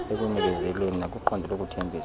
ekuzinikezeleni nakwiqondo lokuthembisa